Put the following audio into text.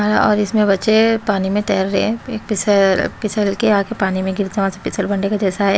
अ और इसमें बच्चे पानी में तैर रहे हैं पीस अ पिसल के आके पानी में गिर के जैसा है।